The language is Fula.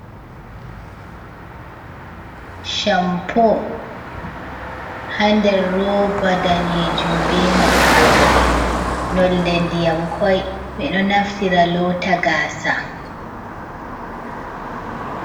Shampo hander roba danejum be maɓɓode, nolde ndyam koi, ɓeɗo naftira lota gasa.